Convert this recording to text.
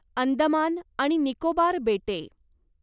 अंदमान आणि निकोबार बेटे